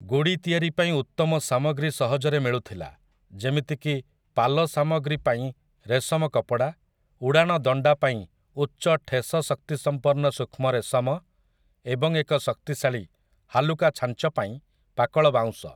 ଗୁଡ଼ି ତିଆରି ପାଇଁ ଉତ୍ତମ ସାମଗ୍ରୀ ସହଜରେ ମିଳୁଥିଲା, ଯେମିତିକି ପାଲ ସାମଗ୍ରୀ ପାଇଁ ରେଶମ କପଡ଼ା, ଉଡ଼ାଣ ଦଣ୍ଡା ପାଇଁ ଉଚ୍ଚ ଠେସ ଶକ୍ତିସମ୍ପନ୍ନ ସୂକ୍ଷ୍ମ ରେଶମ, ଏବଂ ଏକ ଶକ୍ତିଶାଳୀ, ହାଲୁକା ଛାଞ୍ଚ ପାଇଁ ପାକଳ ବାଉଁଶ ।